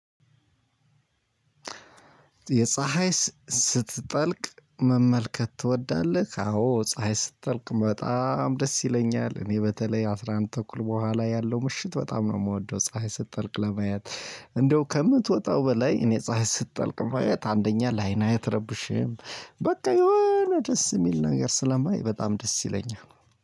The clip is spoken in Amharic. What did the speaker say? የፀሀይ ስትጠልቅ መመልከት ትወዳለህ? አዎ ፀሀይ ስትጠልቅ በጣም ደስ ይለኛል እኔ በተለይ አስራ አንድ ተኩል በኋላ ያለው ምሽት በጣም ነው የምወደው ፀሀይ ስትጠልቅ ለመያት። እንደው ከምትወጣው በላይ እኔ ፀሀይ ስትጠልቅ መያት አንደኛ ለአይና አትረብሽህም በቃ የሆነ ደስ የሚል ነገር ስለማይ በጣም ደስ ይለኛል።